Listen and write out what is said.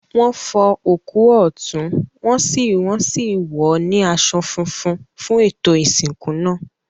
Wọn fọ òkú ọ̀tún, wọn sì wọ́n sì wọ̀ ọ́ ní aṣọ funfun fún ètò ìsìnkú náà.